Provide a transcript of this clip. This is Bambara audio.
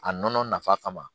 A nɔnɔ nafa kama